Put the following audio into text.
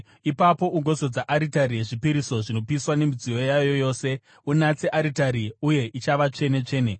Ipapo ugozodza aritari yezvipiriso zvinopiswa nemidziyo yayo yose; unatse aritari, uye ichava tsvene-tsvene.